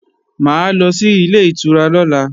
Mà á lọ sí Ilé-ìtura lọ́la